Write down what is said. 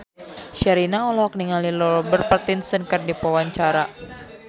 Sherina olohok ningali Robert Pattinson keur diwawancara